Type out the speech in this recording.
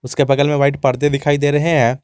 उसके बगल में व्हाइट पर्दे दिखाई दे रहे हैं।